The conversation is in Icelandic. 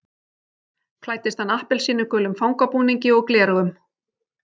Klæddist hann appelsínugulum fangabúningi og gleraugum